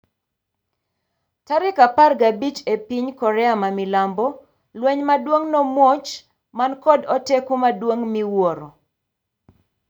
tarik apar gabich epi ny Korea mamilambo lweny maduon' nomuoch man kod oteku maduong' miwuoro.